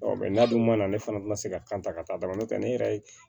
n'a dun mana ne fana tɛ na se ka kan ta ka taa dɔrɔn nɔntɛ ne yɛrɛ ye